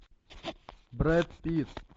брэд питт